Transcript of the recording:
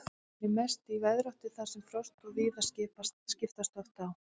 Hún er mest í veðráttu þar sem frost og þíða skiptast oft á.